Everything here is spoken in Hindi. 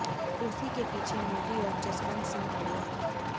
कुर्सी के पीछे मोदी और जसवंत सिंह खड़े हैं